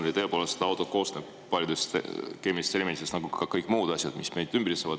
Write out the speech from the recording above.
Jaa, tõepoolest auto koosneb paljudest keemilistest elementidest, nagu ka kõik muud asjad, mis meid ümbritsevad.